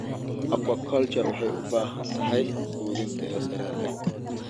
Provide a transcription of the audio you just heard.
Aquaculture waxay u baahan tahay quudin tayo sare leh.